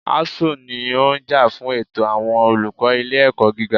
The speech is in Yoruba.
ASUU ní ó ń jà fún ẹ̀tọ́ àwọn olùkọ́ ilé ẹ̀kọ́ gíga.